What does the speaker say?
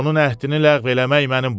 Onun əhdini ləğv eləmək mənim boynuma.